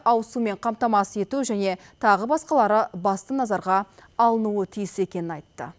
ауыз сумен қамтамасыз ету және тағы басқалары басты назарға алынуы тиіс екенін айтты